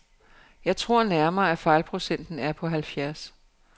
Jeg tror nærmere, at fejlprocenten er på halvfjerds.